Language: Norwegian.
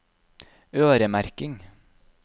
øremerking